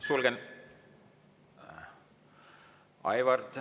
Suur tänu!